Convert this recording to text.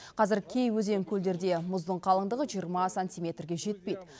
қазір кей өзен көлдерде мұздың қалыңдығы жиырма сантиметрге жетпейді